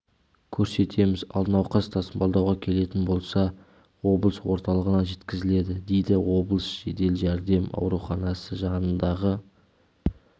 көрсетеміз ал науқас тасымалдауға келетін болса облыс орталығына жеткізіледі дейді облыстық жедел жәрдем ауруханасы жанындағы